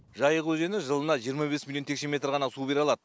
жайық өзені жылына жиырма бес миллион текше метр ғана су бере алады